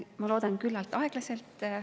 Ma loodan, et küllalt aeglaselt.